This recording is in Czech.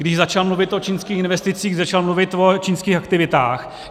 Když začal mluvit o čínských investicích, začal mluvit o čínských aktivitách.